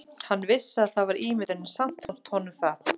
Hann vissi að það var ímyndun en samt fannst honum það.